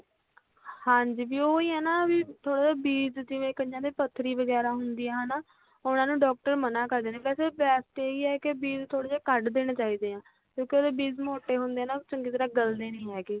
ਹਾਂਜੀ ਦੀਦੀ ਉਹ ਹੀ ਆ ਨਾ ਵੀ ਉਹ ਬੀਜ ਜਿਵੇਂ ਕਈਆਂ ਦੇ ਪੱਧਰੀ ਵਗੈਰਾ ਹੁੰਦੀ ਆ ਹਨਾਂ ਉਹਨਾਂ ਨੂੰ doctor ਮਨਾਂ ਕਰਦੇ ਨੇ ਜੇ ਵੈਸੇ best ਇਹ ਹੀ ਆ ਵੀ ਬੀਜ਼ ਥੋੜੇ ਕੱਢ ਦੇਣੇ ਚਾਹੀਦੇ ਆ ਕਿਉਂਕਿ ਉਹਦੇ ਬੀਜ ਮੋਟੇ ਹੁੰਦੇ ਆ ਨਾ ਉਹ ਚੰਗੀ ਤਰ੍ਹਾਂ ਲਗਦੇ ਨੀ ਹੈਗੇ